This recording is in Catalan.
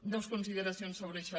dos consideracions sobre això